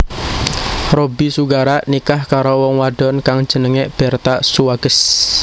Robby Sugara nikah karo wong wadon kang jenengé Bertha Suwages